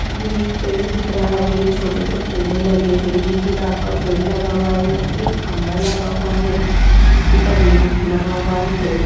ये एक पेड़ दिख रहा है छोटे से पौधे लगे हुए है गुलाब का पेड़ लगा हुआ है एक खम्बा लगा हुआ है जिसके ऊपर लैप लगा हुआ है।